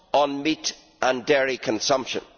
on meat and dairy consumption.